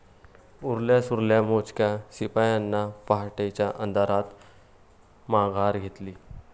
उरल्या सुरल्या मोजक्या शिपायांनी पहाटेच्या अंधारात माघार घेतली.